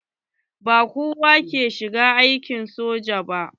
Ba kowa ke shiga aikin soja ba.